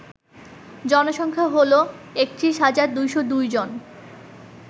জনসংখ্যা হল ৩১২০২ জন